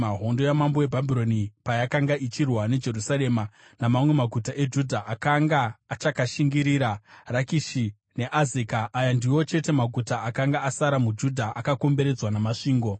hondo yamambo weBhabhironi payakanga ichirwa neJerusarema namamwe maguta eJudha akanga achakashingirira, Rakishi neAzeka. Aya ndiwo chete maguta akanga asara muJudha akakomberedzwa namasvingo.